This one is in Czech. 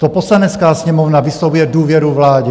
To Poslanecká sněmovna vyslovuje důvěru vládě.